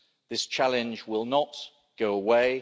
This challenge will not go away.